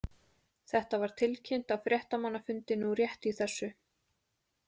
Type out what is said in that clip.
Þetta var tilkynnt á fréttamannafundi nú rétt í þessu.